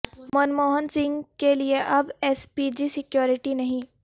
منموہن سنگھ کیلئے اب S P G security نہیں